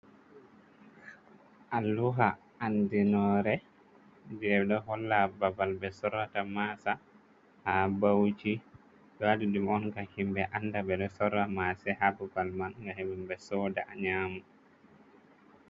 Alluha andinore je ɗo holla babal ɓe sorrata masa ha bauchi ɓewaɗi ɗum on gam himɓɓ anda ɓeɗo sorra mase ha babal man ga himɓɓe soda nyamu.